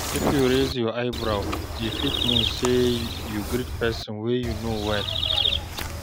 If you raise eyebrow, e fit mean sey you greet pesin wey you know well.